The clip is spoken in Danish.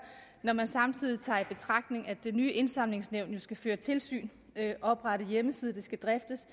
når man samtidig tager i betragtning at det nye indsamlingsnævn jo skal føre tilsyn oprette hjemmeside det skal driftes